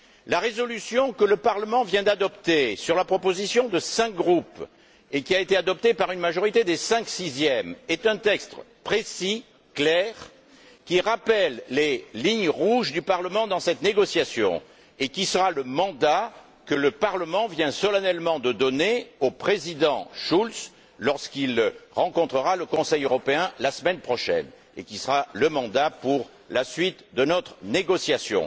La résolution que le Parlement vient d'adopter sur la proposition de cinq groupes et qui a été adoptée par une majorité des cinq sixièmes est un texte précis et clair, qui rappelle les lignes rouges du Parlement dans cette négociation, qui sera le mandat que le Parlement vient solennellement de donner au Président Schulz lorsqu'il rencontrera le Conseil européen, la semaine prochaine, et qui sera le mandat pour la suite de notre négociation.